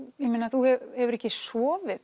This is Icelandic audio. þú hefur ekki sofið